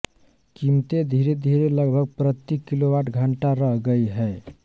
कीमतें धीरेधीरे लगभग प्रति किलोवाटघंटा रह गई हैं